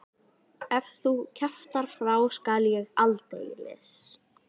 Ef þú kjaftar frá skal ég aldeilis.